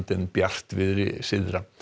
en bjartviðri syðra